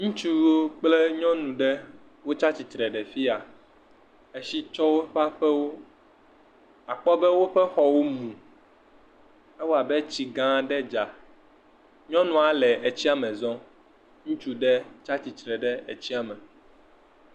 Ŋutsuwo kple nyɔnu ɖe tsi atsitre ɖe afia. Etsi tsɔ woƒe aƒewo, àkpɔ be woƒe xɔ mu. Ewɔ abe tsi gã aɖe dza. Nyɔnua le tsia me zɔm. Ŋutsu ɖe tsi tsitre ɖe tsia me.